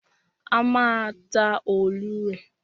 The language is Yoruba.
A má a ta òòlù rè.